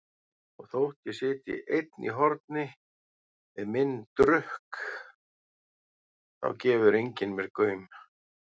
Og þótt ég sitji einn í horni við minn drukk þá gefur enginn mér gaum.